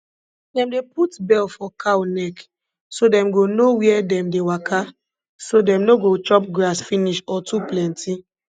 dem dey put bell for cow neck so dem go know where dem dey waka so dem no go chop grass finish or too plenty